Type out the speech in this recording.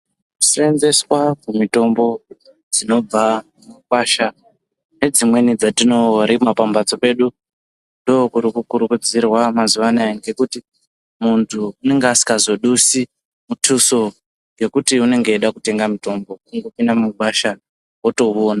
Kuseenzeswa kwemitombo dzinobva mumakwasha nedzimweni dzatinorima pambatso pedu ndokuti kukurudzirwa mazuwanaya ngekuti muntu unenge asingazodisi mutuso yekuti unenge eida kutenga mitombo, kungopinda mugwasha otouona.